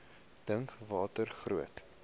dink watter groot